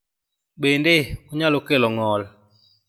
Bende, onyalo kelo ng�ol.